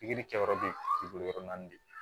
Pikiri kɛ yɔrɔ de ye yɔrɔ naani de ye